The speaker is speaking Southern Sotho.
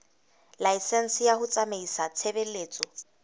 laesense ya ho tsamaisa tshebeletso